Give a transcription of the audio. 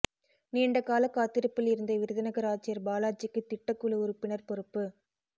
நீண்டகால காத்திருப்பில் இருந்த விருதுநகர் ஆட்சியர் பாலாஜிக்கு திட்டக் குழு உறுப்பினர் பொறுப்பு